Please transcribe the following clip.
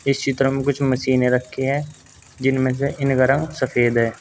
इस चित्र में कुछ मशीने रखी है जिनमें से इनका रंग सफेद है।